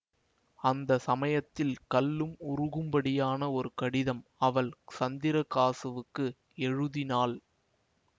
அந்த சமயத்தில் கல்லும் உருகும்படியான ஒரு கடிதம் அவள் சந்திரகாசுவுக்கு எழுதினாள்